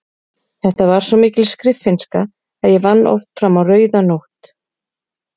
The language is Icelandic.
Þetta var svo mikil skriffinnska að ég vann oft fram á rauða nótt.